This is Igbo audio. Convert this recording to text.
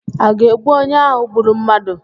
A ga-egbu onye ahụ gburu mmadụ?